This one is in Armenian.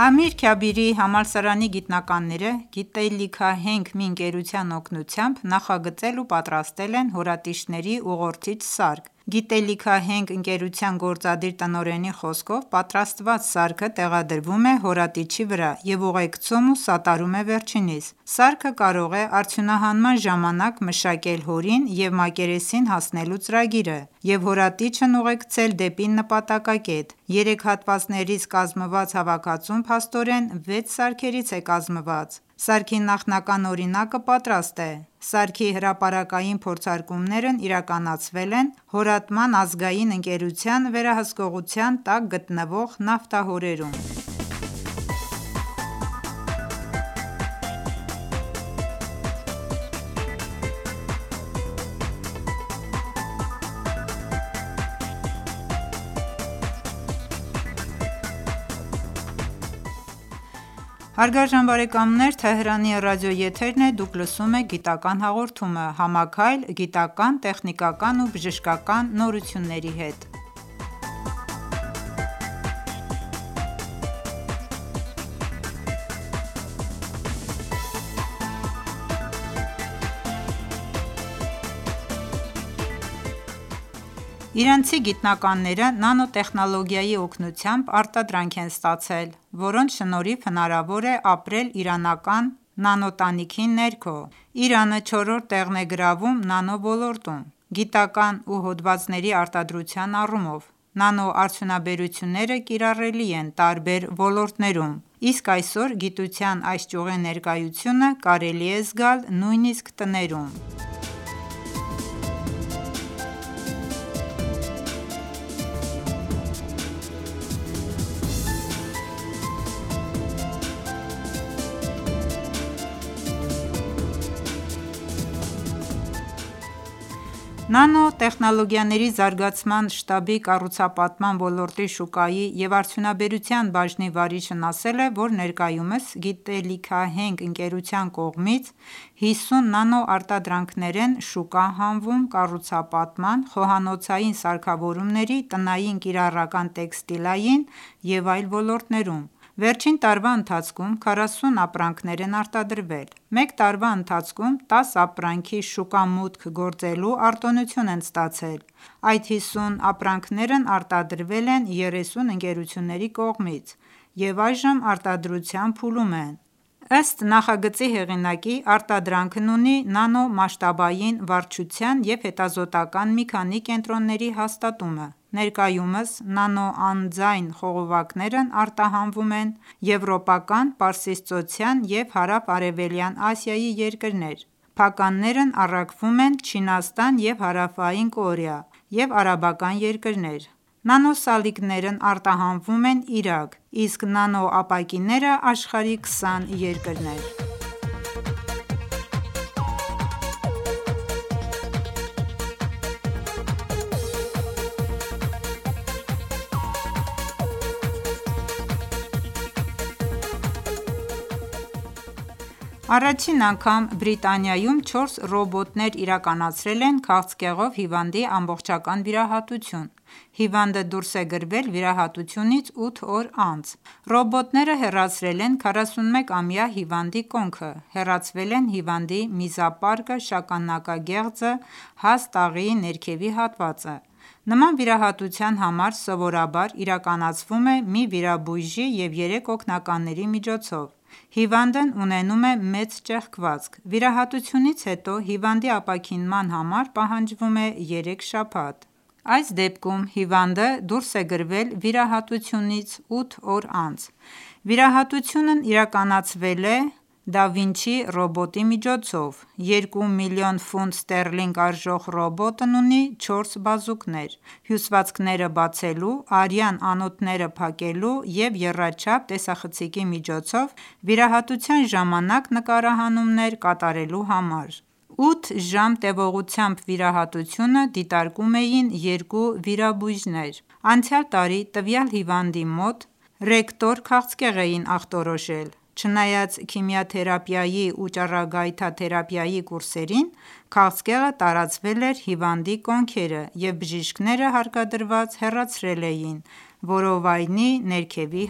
Ամիր Քաբիրի համալսարանի գիտնականները գիտելիքահենք մի ընկերության օգնությամբ, նախագծել ու պատրաստել են հորատիչների ուղղորդիչ սարք: Գիտելիքահենք ընկերության գործադիր տնօրենի խոսքով, պատրաստված սարքը տեղադրվում է հորատիչի վրա և ուղեկցում ու սատարում է վերջինիս: Սարքը կարող է արդյունահանման ժամանակ մշակել հորին և մակերեսին հասնելու ծրագիրը և հորատիչն ուղեկցել դեպի նպատակակետ: Երեք հատվածներից կազմված հավաքածուն փաստորեն վեց սարքերից է կազմված: Սարքի նախնական օրինակը պատրաստ է: Սարքի հրապարակային փորձարկումներն իրականացվել են հորատման ազգային ընկերության վերահսկողության տակ գտնվող նավթահորերում: Իրանցի գիտնականները նանոտեխնոլոգիայի օգնությամբ արտադրանք են ստացել, որոնց շնորհիվ հնարավոր է ապրել իրանական նանոտանիքի ներքո: Իրանը չորրորդ տեղն է գրավում նանո ոլորտում ՝ գիտական ու հոդվածների արտադրության առումով: Նանոարդյունաբերությունները կիրառելի են տարբեր ոլորտներում: Իսկ այսօր գիտության այս ճյուղի ներկայությունը կարելի է զգալ նույնիսկ տներում: Նանոտեխնոլոգիաների զարգացման շտաբի կառուցապատման ոլորտի շուկայի և արդյունաբերության բաժնի վարիչն ասել է, որ ներկայումս գիտելիքահենք ընկերության կողմից 50 նանոարտադրանքներ են շուկա հանվում կառուցապատման, խոհանոցային սարքավորումների, տնային կիրառական տեքստիլային և այլ ոլորտներում: Վերջին տարվա ընթացքում 40 ապրանքներ են արտադրվել: Մեկ տարվա ընթացքում 10 ապրանքի շուկա մուտք գործելու արտոնություն են ստացել: Այդ 50 ապրանքներն արտադրվել են 30 ընկերությունների կողմից և այժմ արտադրության փուլում են: Ըստ նախագծի հեղինակի, արտադրանքն ունի նանոմասշտաբային վարչության և հետազոտական մի քանի կենտրոնների հաստատումը: Ներկայումս նանոանձայն խողովակներն արտահանվում են եվրոպական, պարսիցծոցյան ու հարավարևելյան Ասիայի երկրներ, փականներն առաքվում են Չինաստան և Հարավային Կորեա ու արաբական երկրներ: Նանոսալիկներն արտահանվում են Իրաք, իսկ նանո ապակիները աշխարհի քսան երկրներ: Առաջին անգամ Բրիտանիայում չորս ռոբոտներ իրականացրել են քաղցկեղով հիվանդի ամբողջական վիրահատություն: Հիվանդը դուրս է գրվել վիրահատությունից ութ օր անց: Ռոբոտները հեռացրել են 41-ամյա հիվանդի կոնքը: Հեռացվել են հիվանդի միզապարկը, շագանակագեղձը, հաստ աղիի ներքևի հատվածը: Նման վիրահատության համար սովորաբար իրականացվում է մի վիրաբույժի և երեք օգնականների միջոցով: Հիվանդն ունենում է մեծ ճեղքվածք: Վիրահատությունից հետո հիվանդի ապաքինման համար պահանջվում է երեք շաբաթ: Այս դեպքում հիվանդը դուրս է գրվել վիրահատությունից ութ օր անց: Վիրահատությունն իրականացվել է Da Vinci Xi ռոբոտի միջոցով: Երկու միլիոն ֆունտ ստերլինգ արժող ռոբոտն ունի չորս բազուկներ ՝ հյուսվածքները բացելու, արյան անոթները փակելու և եռաչափ տեսախցիկի միջոցով վիրահատության ժամանակ նկարահանումներ կատարելու համար: Ութ ժամ տևողությամբ վիրահատությունը դիտարկում էին երկու վիրաբույժներ: Անցյալ տարի տվյալ հիվանդի մոտ rectal քաղցկեղ էին ախտորոշել: Չնայած քիմիաթերիապիայի ու ճառագայթատերապիայի կուրսերին, քաղցկեղը տարածվել էր հիվանդի կոնքերը և բժիշկները հարկադրված հեռացրել էին որովայնի ներքևի